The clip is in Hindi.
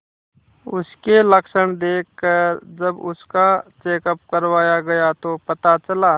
उसके लक्षण देखकरजब उसका चेकअप करवाया गया तो पता चला